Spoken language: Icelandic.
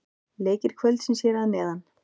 Leikir kvöldsins hér að neðan: